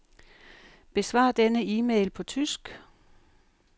Besvar denne e-mail på tysk.